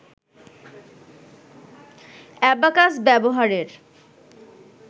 abacus ব্যবহারের